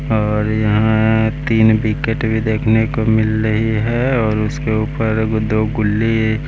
और यहाँ तीन विकेट भी देखने को मिल रही है और उसके ऊपर दो गुल्ली --